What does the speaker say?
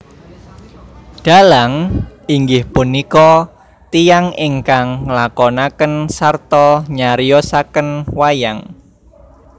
Dhalang inggih punika tiyang ingkang nglakonaken sarta nyariosaken wayang